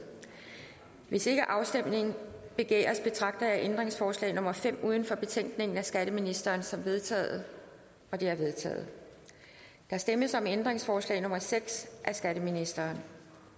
hvis ikke afstemning begæres betragter jeg ændringsforslag nummer fem uden for betænkningen af skatteministeren som vedtaget det er vedtaget der stemmes om ændringsforslag nummer seks af skatteministeren